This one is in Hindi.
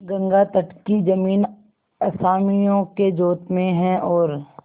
गंगातट की जमीन असामियों के जोत में है और